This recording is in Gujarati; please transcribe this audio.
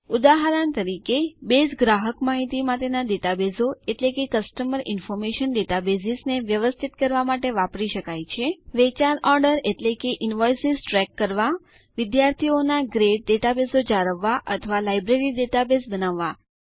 ઉદાહરણ તરીકે બેઝ ગ્રાહક માહિતી માટેના ડેટાબેઝો એટલે કે કસ્ટમર ઇન્ફોર્મેશન ડેટાબેસ ને વ્યવસ્થિત કરવા માટે વાપરી શકાય છે વેચાણ ઓર્ડર અને ઇન્વૉઇસેસ ટ્રેક કરવા વિદ્યાર્થીઓ ના ગ્રેડ ડેટાબેઝો જાળવવા અથવા લાઈબ્રેરી ડેટાબેઝ બનાવવા